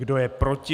Kdo je proti?